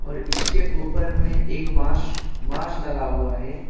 इसके ऊपर में एक बास बांस लगा हुआ है।